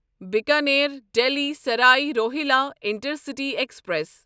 Bikaner Delhi Sarai Rohilla intercity express